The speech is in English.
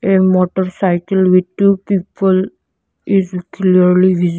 a motorcycle with two people is clearly visi--